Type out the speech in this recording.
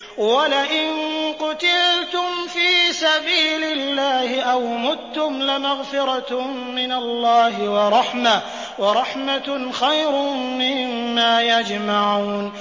وَلَئِن قُتِلْتُمْ فِي سَبِيلِ اللَّهِ أَوْ مُتُّمْ لَمَغْفِرَةٌ مِّنَ اللَّهِ وَرَحْمَةٌ خَيْرٌ مِّمَّا يَجْمَعُونَ